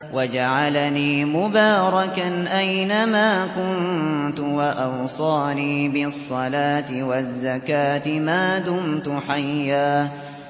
وَجَعَلَنِي مُبَارَكًا أَيْنَ مَا كُنتُ وَأَوْصَانِي بِالصَّلَاةِ وَالزَّكَاةِ مَا دُمْتُ حَيًّا